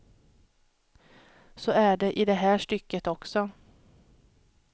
Så är det i det här stycket också.